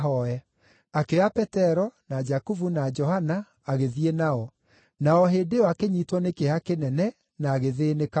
Akĩoya Petero na Jakubu na Johana agĩthiĩ nao, na o hĩndĩ ĩyo akĩnyiitwo nĩ kĩeha kĩnene na agĩthĩĩnĩka mũno.